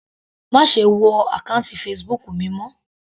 Má ṣe wọ àkọ́ùntì Facebook mi mọ́.